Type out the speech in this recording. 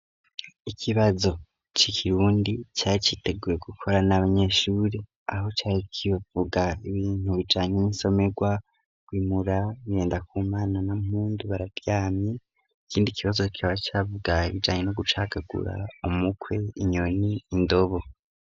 Ikibazo c'ikirundi cari giteguwe gukora n'abanyeshuri aho cari kivuga ibintu bijanye n'isomegwa kwimura bigendakumana na mpundu bararyamye ikindi kibazo kikaba cavuga ibijanye no gucakagura umukwe, inyoni, indobo.